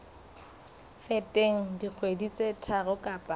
feteng dikgwedi tse tharo kapa